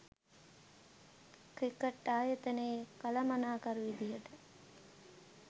cricket ආයතනයේ කළමනාකරු විදියට